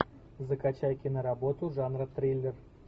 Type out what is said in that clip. закачай киноработу жанра триллер